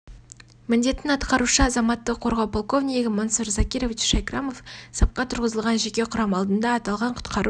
міндетін атқарушы азаматтық қорғау полковнигі мансур закирович шайкрамов сапқа тұрғызылған жеке құрам алдында аталған құтқару